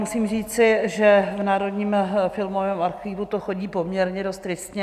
Musím říci, že v Národním filmovém archivu to chodí poměrně dost tristně.